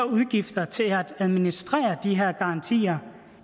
udgifter til at administrere de her garantier